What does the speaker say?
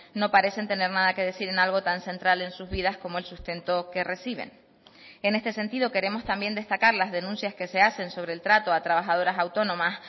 no parecen tener nada que decir en algo tan central en sus vidas como el sustento que reciben en este sentido queremos también destacar las denuncias que se hacen sobre el trato a trabajadoras autónomas